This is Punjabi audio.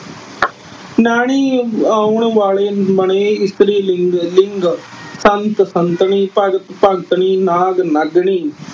ਣ ਆਉਣ ਵਾਲੇ ਬਣੇ ਇਸਤਰੀ ਲਿੰਗ। ਸੰਤ-ਸੰਤਣੀ। ਭਗਤ-ਭਗਤਣੀ। ਨਾਗ-ਨਾਗਣੀ।